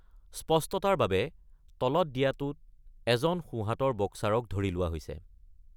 স্পষ্টতাৰ বাবে তলত দিয়াটোত এজন সোঁহাতৰ বক্সাৰক ধৰি লোৱা হৈছে।